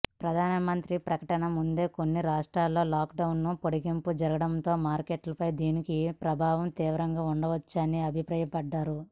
ప్రధాన మంత్రి ప్రకటనకు ముందే కొన్ని రాష్ట్రాలలో లాక్డౌన్ పొడిగింపు జరగడంతో మార్కెట్లపై దీని ప్రభావం తీవ్రంగా ఉండకపోవచ్చని అభిప్రాయపడ్డారు